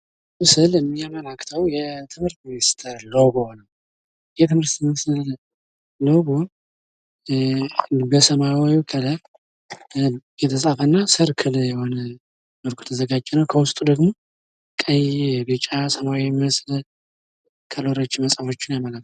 ይህ ስዕል የሚያመለክተዉ የትምህርት ሚኒስቴር ሎጎ ነዉ። የትምህርት ሚኒስቴር ሎጎ በሰማያዊ ከለር የተፃፈ እና ሰርክል የሆነ ሆኖ የተዘጋጀ በዉስጡ ደግሞ ቀይ፣ ቢጫ፣ ሰማያዊ የሚመስል ከለሮችን መፃፎችን ያመለክታል።